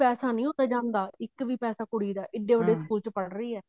ਪੈਸਾ ਨੀ ਉੱਥੇ ਜਾਂਦਾ ਇੱਕ ਵੀ ਪੈਸਾ ਕੁੜੀ ਦਾ ਏਡੇ ਵੱਡੇ ਸਕੂਲ ਚ ਪੜ੍ਹ ਰਹੀ ਹੈ